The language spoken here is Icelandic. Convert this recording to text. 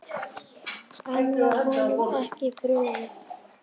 En var honum ekki brugðið?